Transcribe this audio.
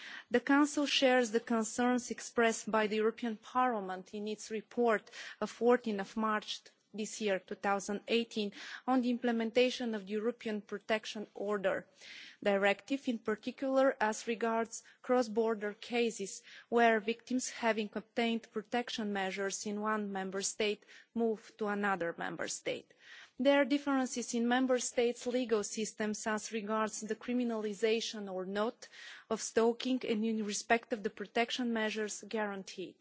The Council shares the concerns expressed by the European Parliament in its report of 14 March 2018 on the implementation of the European Protection Order Directive, in particular as regards cross border cases, where victims, having obtained protection measures in one Member State, move to another Member State. There are differences in Member States' legal systems as regards the criminalisation or not of stalking and in respect of the protection measures guaranteed.